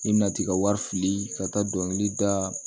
I bɛna t'i ka wari fili ka taa dɔnkili da